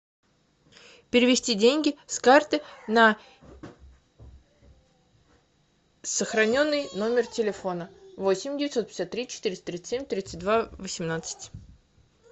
перевести деньги с карты на сохраненный номер телефона восемь девятьсот пятьдесят три четыреста тридцать семь тридцать два восемнадцать